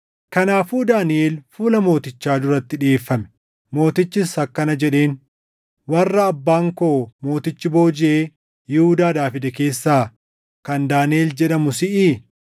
Kanaafuu Daaniʼel fuula mootichaa duratti dhiʼeeffame; mootichis akkana jedheen; “Warra abbaan koo mootichi boojiʼee Yihuudaadhaa fide keessaa kan Daaniʼel jedhamu siʼii?